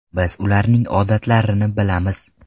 Biz ularning odatlarini bilamiz.